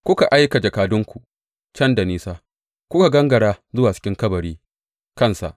Kuka aika jakadunku can da nisa; kuka gangara zuwa cikin kabari kansa!